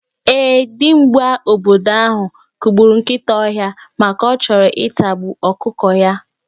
Ee, dimgba obodo ahụ kụgburu nkịta ọhịa maka ọ chọrọ ịtagbu ọkụkọ ya.